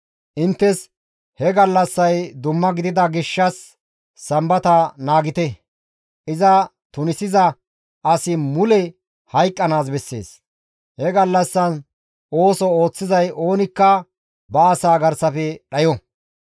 Inttes he gallassay dumma gidida gishshas Sambata naagite. Iza tunisiza asi mule hayqqanaas bessees; he gallassan ooso ooththizay oonikka ba asaa garsafe dhayo.